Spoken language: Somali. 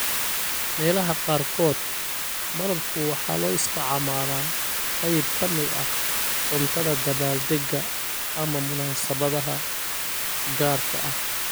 Meelaha qaarkood, malabku waxa loo isticmaalaa qayb ka mid ah cuntada dabbaaldegga ama munaasabadaha gaarka ah.